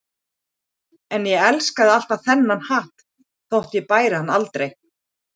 En ég elskaði alltaf þennan hatt þótt ég bæri hann aldrei.